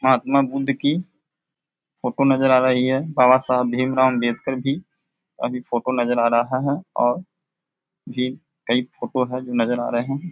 महात्मा बुध की फोटो नजर आ रही है। बाबा साहब भीम राव आंबेडकर भी अभी फोटो नजर आ रहा है और भी कई फोटो हैं जो नजर आ रहें हैं।